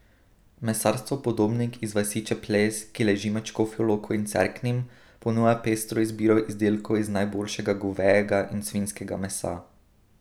Mesarstvo Podobnik iz vasi Čeplez, ki leži med Škofjo Loko in Cerknim, ponuja pestro izbiro izdelkov iz najboljšega govejega in svinjskega mesa.